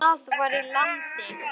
Það var í landi